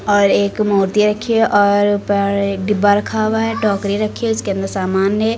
और एक मूर्तियाँ रखी है और ऊपर एक डिब्बा रखा हुआ है। टोकरी रखी है। उसके अंदर सामान है।